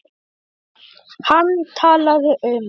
Hann talaði um